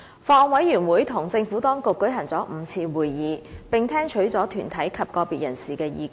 法案委員會與政府當局舉行了5次會議，並聽取了團體及個別人士的意見。